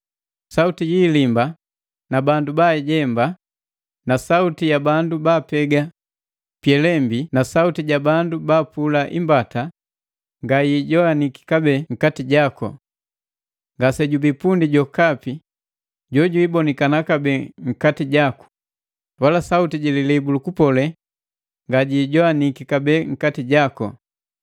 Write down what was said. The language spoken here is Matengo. Sauti yi ilimba na bandu baajemba, sauti ya bandu baapega pyelembi na sauti ja bandu baapula imbata nga yi ijowaniki kabee nkati jaku. Ngasejubii pundi jwa jokapi jojwibonikana kabee nkati jaku, wala sauti jililibu lukupole nga jiijowaniki kabee nkati jaku.